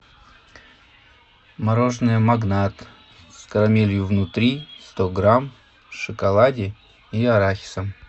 мороженое магнат с карамелью внутри сто грамм в шоколаде и арахисом